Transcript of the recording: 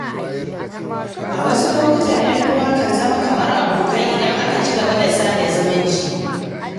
A wasu lokuta, ‘yan uwa kan zama kamar abokai idan aka ci gaba da sada zumunci.